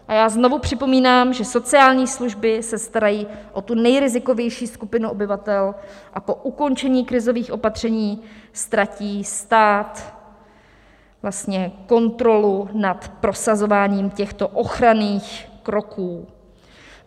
A já znovu připomínám, že sociální služby se starají o tu nejrizikovější skupinu obyvatel a po ukončení krizových opatření ztratí stát vlastně kontrolu nad prosazováním těchto ochranných kroků.